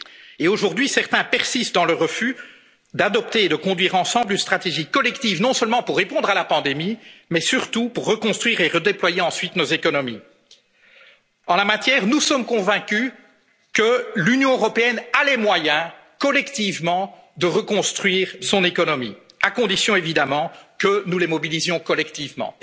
pour soi. Et aujourd'hui, certains persistent dans leur refus d'adopter et de conduire ensemble une stratégie collective non seulement pour répondre à la pandémie mais surtout pour reconstruire et redéployer ensuite nos économies. En la matière, nous sommes convaincus que l'Union européenne a les moyens, collectivement, de reconstruire son économie, à condition évidemment que nous les mobilisions collectivement.